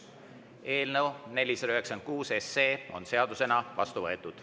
Eelnõu 496 on seadusena vastu võetud.